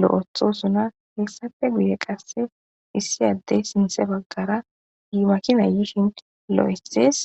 lo'iyhthosonna hessappe hessappe guye qase issi adeyi sinththe bagara makinayi yishin loyiththes .